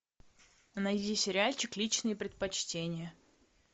найди сериальчик личные предпочтения